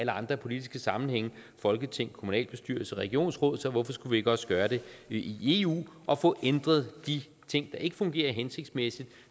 andre politiske sammenhænge folketing kommunalbestyrelse regionsråd så hvorfor skulle vi ikke også gøre det i eu og få ændret de ting der ikke fungerer hensigtsmæssigt